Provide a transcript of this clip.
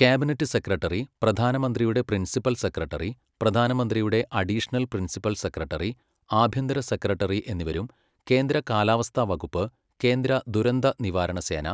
cabinet secretary, പ്രധാനമന്ത്രിയുടെ principal secretary, പ്രധാനമന്ത്രിയുടെ additional principal secretary, ആഭ്യന്തര സെക്രട്ടറി എന്നിവരും കേന്ദ്ര കാലാവസ്ഥാവകുപ്പ്, കേന്ദ്ര ദുരന്ത നിവാരണസേന,